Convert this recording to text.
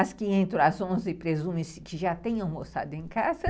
As que entram às onze, presume-se que já têm almoçado em casa.